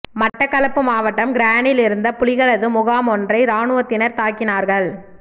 மட்டக்களப்பு மாவட்டம் கிரானில் இருந்த புலிகளது முகாம் ஒன்றை இராணுவத்தினர் தாக்கினார்கள்